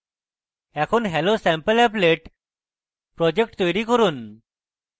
এখন hellosampleapplet project তৈরী করুন